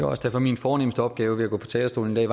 også derfor at min fornemste opgave med at gå på talerstolen i